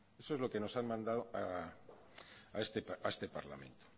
esto es lo que nos han mandado a este parlamento